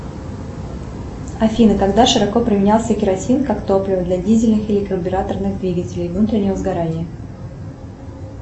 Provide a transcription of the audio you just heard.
афина когда широко применялся керосин как топливо для дизельных или карбюраторных двигателей внутреннего сгорания